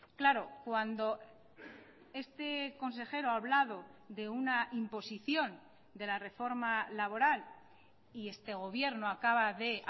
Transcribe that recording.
claro cuando este consejero ha hablado de una imposición de la reforma laboral y este gobierno acaba de